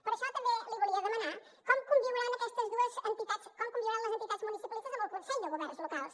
per això també li volia demanar com conviuran aquestes dues entitats com conviuran les entitats municipalistes amb el consell de governs locals